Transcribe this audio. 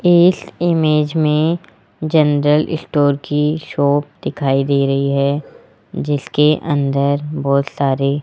इस इमेज में general store की शॉप दिखाई दे रही है जिसके अंदर बहुत सारे।